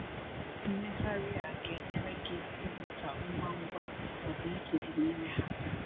Mmegharị a ga-enyere gị ịmụta ngwa ngwa ọdịiche dị n’ime ha.